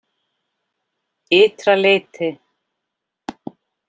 Ytra leyti